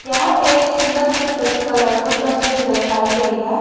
यह एक सुंदर सी तस कलरफुल तस्वीर दर्शाई गई है।